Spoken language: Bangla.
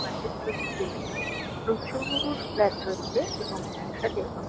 বিল্ডিং এখানে প্রচু-উ-উ-র ফ্ল্যাট রয়েছে। এবং একসাথে অনে--